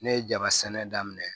Ne ye jaba sɛnɛ daminɛ